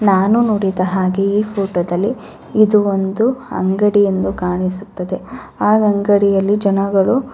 ನಾನು ನೋಡಿದ ಹಾಗೆ ಈ ಫೋಟೋ ದಲ್ಲಿ ಇದು ಒಂದು ಅಂಗಡಿ ಎಂದು ಕಾಣಿಸುತದೆ ಆ ಅಂಗಡಿಯಲ್ಲಿ ಜನಗಳು --